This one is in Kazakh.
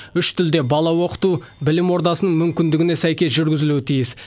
үш тілде бала оқыту білім ордасының мүмкіндігіне сәйкес жүргізілуі тиіс